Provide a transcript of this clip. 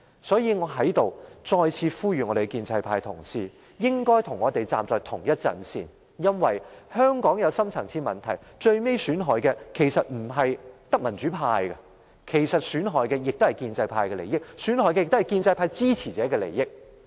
所以，我要再次呼籲建制派同事，應該與我們站在同一陣線，因為香港有深層次問題，最終損害的不只是民主派，也損害了建制派及其支持者的利益。